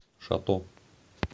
шато